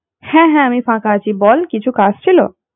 হ্যাঁ হ্যাঁ আমি ফাঁকা আছি বল কিছু কাজ ছিল